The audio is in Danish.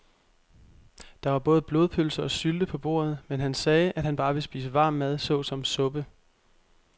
Der var både blodpølse og sylte på bordet, men han sagde, at han bare ville spise varm mad såsom suppe.